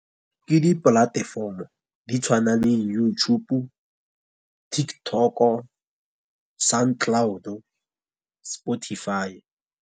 Ke di-platform-o di tshwana le YouTube-o, TikTok-o, Sound Cloud-o, Spotify.